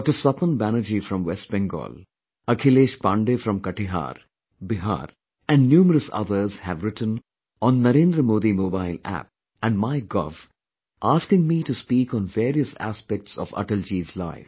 Swapan Banerjee from West Bengal, Akhilesh Pandey from Katihar, Bihar and numerous others have written on Narendra Modi Mobile App and MyGov asking me to speak on various aspects of Atalji's life